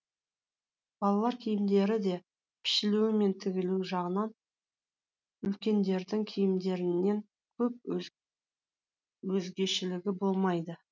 балалар киімдері де пішілуі мен тігілуі жағынан үлкендердің киімдерінен көп өзгешелігі болмайды